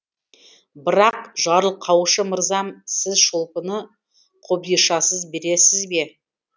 бірақ жарылқаушы мырзам сіз шолпыны қобдишасыз бересіз бе